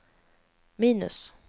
minus